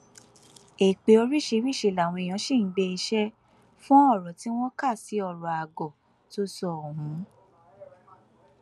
èpè oríṣiríṣiì làwọn èèyàn ṣì ń gbé e ṣe fún ọrọ tí wọn kà sí ọrọ àgọ tó sọ ohun